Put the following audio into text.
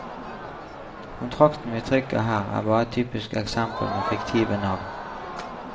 Kontrakten vi trykker her er bare et typisk eksempel med fiktive navn.